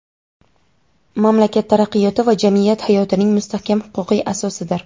mamlakat taraqqiyoti va jamiyat hayotining mustahkam huquqiy asosidir.